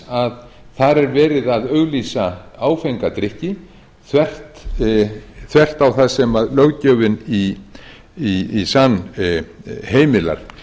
að þar er verið að auglýsa áfenga drykki þvert á það sem löggjöfin í sann heimilar